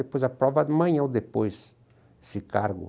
Depois aprova amanhã ou depois esse cargo.